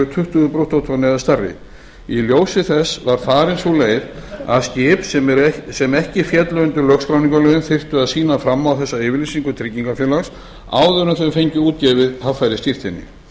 tuttugu brúttótonn eða stærri í ljósi þess var farin sú leið að skip sem ekki féllu undir lögskráningarlögin þyrftu að sýna fram á þessa yfirlýsingu tryggingarfélags áður en þau fengju útgefið haffærisskírteini